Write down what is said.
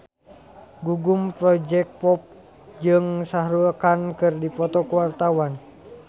Gugum Project Pop jeung Shah Rukh Khan keur dipoto ku wartawan